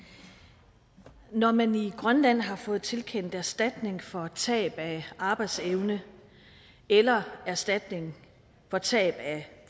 når man i grønland har fået tilkendt erstatning for tab af arbejdsevne eller erstatning for tab af